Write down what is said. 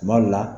Tuma dɔ la